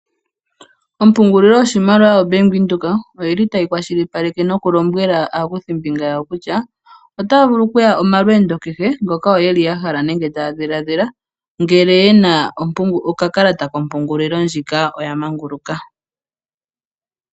Ompungulilo yoshimaliwa yoBank Windhoek oyi li tayi kwashilipaleke nokulombwela aakuthimbinga yawo kutya otaya vulu oku ya omalweendo kehe ngoka yo ye li ya hala nenge taya dhiladhila. Ngele ye na okakalata kompungulilo ndjika oya manguluka.